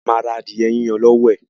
A ma ra adìẹ yiyan lọ́wọ́ ẹ̀